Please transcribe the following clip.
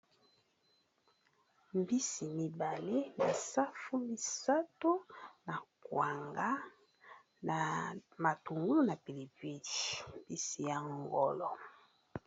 Mbisi mibale me safu misato na kwanga na matungu na pili pili mbisi ya ngolo.